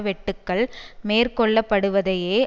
வெட்டுக்கள் மேற்கொள்ளப்டுவதையே